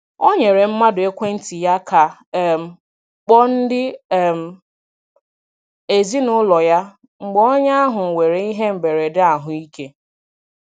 O nyere mmadụ ekwentị ya ka um kpọọ ndị um ezinaụlọ ya mgbe onye ahụ nwere ihe mberede ahụ ike.